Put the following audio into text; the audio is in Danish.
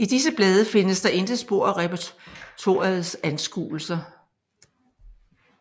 I disse blade findes der intet spor af Repertoriets anskuelser